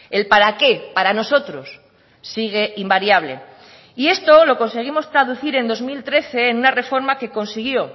el para qué para nosotros sigue invariable y esto lo conseguimos traducir en dos mil trece en una reforma que consiguió